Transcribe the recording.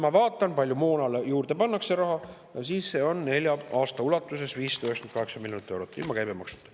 Ma vaatan, kui palju moona jaoks pannakse raha juurde: nelja aasta jooksul 598 miljonit eurot ilma käibemaksuta.